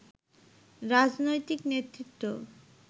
রাজনৈতিক নেতৃত্ব